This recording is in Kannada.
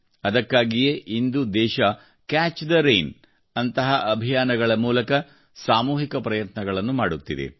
ಅದಕ್ಕಾಗಿಯೇ ಇಂದು ದೇಶವು ಕ್ಯಾಚ್ ದಿ ರೈನ್ ನಂತಹ ಅಭಿಯಾನಗಳ ಮೂಲಕ ಸಾಮೂಹಿಕ ಪ್ರಯತ್ನಗಳನ್ನು ಮಾಡುತ್ತಿದೆ